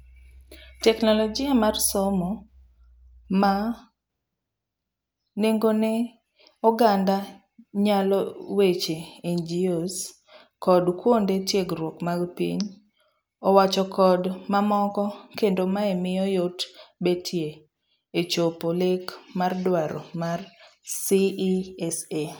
teknologia mar somo ma nengone oganda nyaloe weche NGOs, kod kuonde tiegruok mag piny owachokod mamoko kendo mae miyo yot betie echopo lek mar dwaro mar CESA.